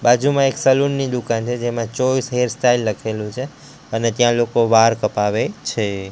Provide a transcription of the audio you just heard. બાજુમાં એક સલૂન ની દુકાન છે જેમા ચોઇસ હેરસ્ટાઇલ લખેલુ છે અને ત્યાં લોકો વાળ કપાવે છે.